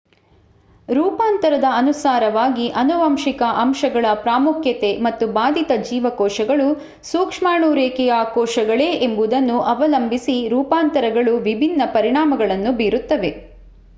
ರೂಪಾಂತರದ ಅನುಸಾರವಾಗಿ ಆನುವಂಶಿಕ ಅಂಶಗಳ ಪ್ರಾಮುಖ್ಯತೆ ಮತ್ತು ಬಾಧಿತ ಜೀವಕೋಶಗಳು ಸೂಕ್ಷ್ಮಾಣು-ರೇಖೆಯ ಕೋಶಗಳೇ ಎಂಬುದನ್ನು ಅವಲಂಬಿಸಿ ರೂಪಾಂತರಗಳು ವಿಭಿನ್ನ ಪರಿಣಾಮಗಳನ್ನು ಬೀರುತ್ತವೆ